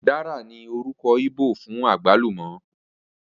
Ùdára ní orúkọ íbò fún àgbálùmọ́